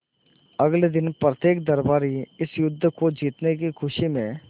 अगले दिन प्रत्येक दरबारी इस युद्ध को जीतने की खुशी में